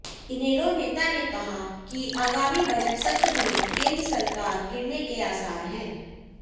इनेलो नेता ने कहा कि आगामी बजट सत्र में केंद्र सरकार गिरने के आसार हैं